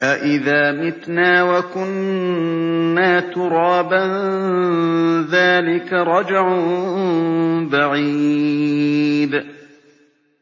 أَإِذَا مِتْنَا وَكُنَّا تُرَابًا ۖ ذَٰلِكَ رَجْعٌ بَعِيدٌ